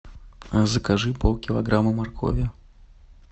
закажи полкилограмма моркови